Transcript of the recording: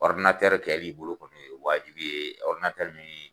kɛ bi i bolo kɔni o ye waajibi ye min